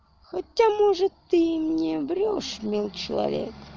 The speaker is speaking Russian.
хотя может ты мне врёшь милый человек